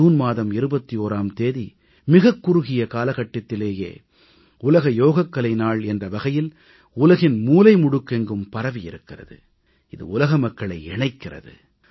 June மாதம் 21ஆம் தேதி மிகக் குறுகிய காலகட்டதிலேயே உலக யோகக்கலை நாள் என்ற வகையில் உலகின் மூலைமுடுக்கெங்கும் பரவியிருக்கிறது இது உலக மக்களை இணைக்கிறது